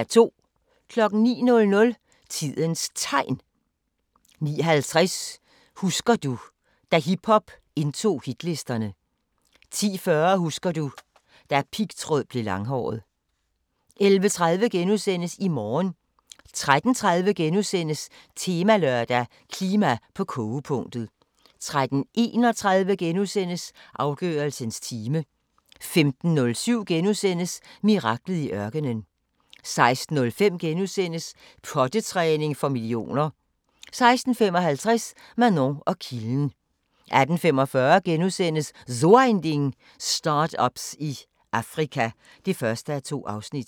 09:00: Tidens Tegn 09:50: Husker du – da hiphop indtog hitlisterne 10:40: Husker du - da pigtråd blev langhåret 11:30: I morgen * 13:30: Temalørdag: Klima på kogepunktet * 13:31: Afgørelsens time * 15:07: Miraklet i ørkenen * 16:05: Pottetræning for millioner * 16:55: Manon og kilden 18:45: So Ein Ding: Start-ups i Afrika (1:2)*